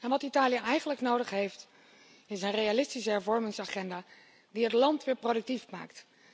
Wat Italië eigenlijk nodig heeft is een realistische hervormingsagenda die het land weer productief maakt.